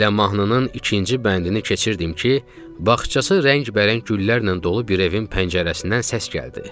Elə mahnının ikinci bəndini keçirdim ki, bağçası rəngbərəng güllərlə dolu bir evin pəncərəsindən səs gəldi.